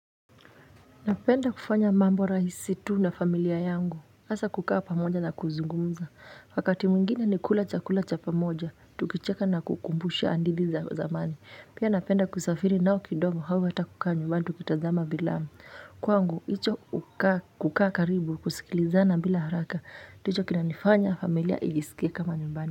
Napenda kufanya mambo rahisi tu na familia yangu. Hasa kukaa pamoja na kuzungumuza. Wakati mwingina ni kula chakula cha pamoja, tukicheka na kukumbusha andithi za zamani. Pia napenda kusafiri nao kidogo hau hata kukaa nyumbani tukitazama bilamu. Kwangu, icho kukaa karibu kusikilizana bila haraka. Ndicho kina nifanya familia ijisikie kama nyumbani.